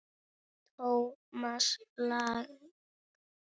Thomas Lang